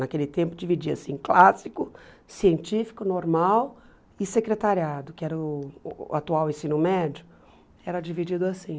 Naquele tempo dividia assim, clássico, científico, normal e secretariado, que era o atual ensino médio, era dividido assim.